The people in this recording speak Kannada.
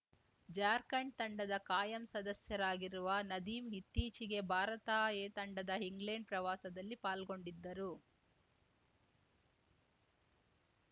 ಜಾರ್ಖಂಡ್‌ ತಂಡದ ಕಾಯಂ ಸದಸ್ಯರಾಗಿರುವ ನದೀಂ ಇತ್ತೀಚೆಗೆ ಭಾರತ ಎ ತಂಡದ ಇಂಗ್ಲೆಂಡ್‌ ಪ್ರವಾಸದಲ್ಲಿ ಪಾಲ್ಗೊಂಡಿದ್ದರು